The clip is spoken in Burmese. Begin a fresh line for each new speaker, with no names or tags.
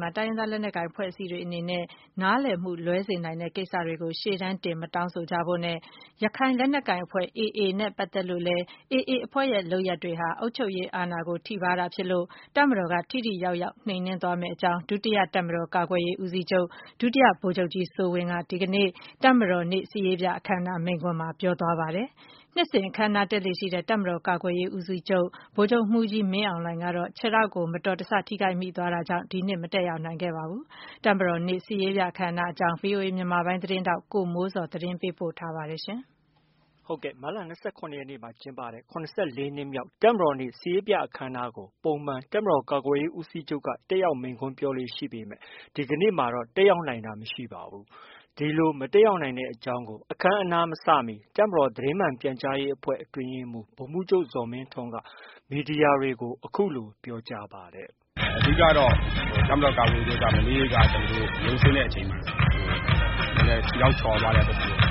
မှာ တိုင်းရင်းသားလက်နက်ကိုင် အဖွဲ့အစည်းတွေအနေနဲ့ နားလည်မှု လွဲမှားစေနိုင်တဲ့ ကိစ္စတွေကို ရှေ့တန်းတင် မတောင်းဆိုကြဖို့နဲ့၊ ရခိုင်လက်နက်ကိုင်အဖွဲ့ AA နဲ့ပတ်သက်လို့လည်း AA အဖွဲ့ရဲ့ လုပ်ရပ်တွေဟာ အုပ်ချုပ်ရေးအာဏာကို ထိပါးတာဖြစ်လို့ တပ်မတော်က ထိထိရောက်ရောက် နှိမ်နင်းသွားမယ့်အကြောင်း ဒုတိယ တပ်မတော်ကာကွယ်ရေးဦးစီးချုပ် ဒုတိယဗိုလ်ချုပ်မှူးကြီးစိုးဝင်းက ဒီကနေ့ တပ်မတော်နေ့ စစ်ရေးပြအခမ်းအနား မိန့်ခွန်းမှာ ပြောဆိုသွားပါတယ်။ နှစ်စဉ်အခမ်းအနားတက်လေ့ရှိတဲ့ တပ်မတော် ကာကွယ်ရေး ဦးစီးချုပ် ဗိုလ်ချုပ်မှူးကြီး မင်းအောင်လှိုင် ကတော့ မတော်တဆ ခြေထောက်ဒဏ်ရာကြောင့် ဒီနှစ် မတက်ရောက်နိုင်ခဲ့ပါဘူး။ တပ်မတော်နေ့ စစ်ရေးပြ အခမ်းအနားအကြောင်း ဗွီအိုအေမြန်မာပိုင်းရဲ့ သတင်းထောက် ကိုမိုးဇော်က သတင်းပေးပို့ထားပါတယ်။
မတ်လ ၂၇ရက်နေ့မှာ ကျင်းပတဲ့ ၇၄ နှစ်မြောက် တပ်မတော်နေ့ စစ်ရေးပြအခမ်းအနားကို ပုံမှန် တပ်မတော်ကာကွယ်ရေးဦးစီးချုပ်က တက်ရောက် မိန့်ခွန်းပြောလေ့ ရှိပေမဲ့ ဒီနေ့မှာတော့ တက်ရောက်နိုင် တာမရှိပါဘူး။ ဒီလို မတက်ရောက်နိုင်တဲ့အကြောင်းကို အခမ်းအနားမစမီ တပ်မတော် သတင်းမှန် ပြန်ကြားရေးအဖွဲ့ အတွင်းရေးမှူး ဗိုလ်မှူးချုပ် ဇော်မင်းထွန်းက အခုလိ
ု သတင်း မီဒီယာတွေကို ပြောကြားပါတယ်။ “အဓိကကတော့ တပ်မတော် ကာကွယ်ရေးဦးစီးချုပ်က မနေ့က ရုံးဆင်းတဲ့အချိန်မှာ ခြေထောက်ချော်သွားတဲ့ အတွက်ကြောင့်